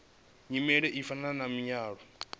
nyimele u fana na muaro